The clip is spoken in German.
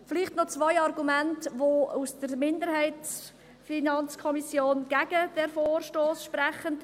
Vielleicht noch zwei Argumente, die für die FiKo-Minderheit gegen diesen Vorstoss sprechen.